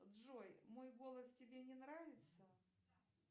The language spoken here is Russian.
джой мой голос тебе не нравится